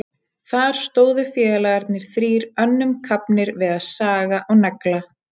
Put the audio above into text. Þar stóðu félagarnir þrír önnum kafnir við að saga og negla.